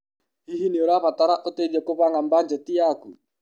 Hihi nĩ ũrabatara ũteithio kũbanga mbanjeti yaku?